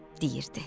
deyirdi.